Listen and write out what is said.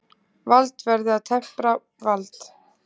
Vald verði að tempra vald.